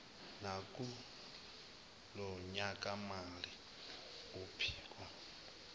nakulo nyakamali uphiko